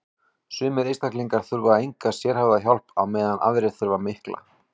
sumir einstaklingar þurfa enga sérhæfða hjálp á meðan aðrir þurfa mikla